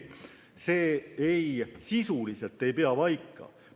See sisuliselt ei pea paika.